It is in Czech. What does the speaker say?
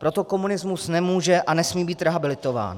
Proto komunismus nemůže a nesmí být rehabilitován.